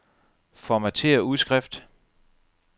Formatér udskrift.